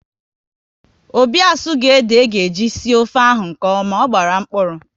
Obi asughi ede aga eji sie ofe ahụ nkeọma, ọ gbara mkpụrụ